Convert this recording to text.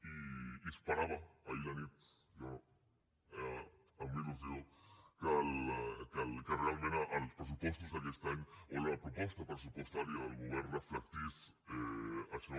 i esperava ahir a la nit jo amb il·lusió que realment els pressupostos d’aquest any o la proposta pressupostària del govern reflectís això